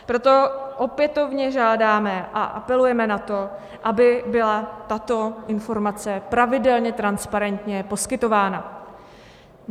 Proto opětovně žádáme a apelujeme na to, aby byla tato informace pravidelně transparentně poskytována.